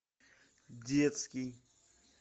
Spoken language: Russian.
детский